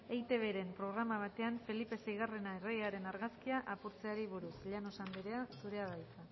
eitbren programa batean felipe seigarrena erregearen argazkia apurtzeari buruz llanos andrea zurea da hitza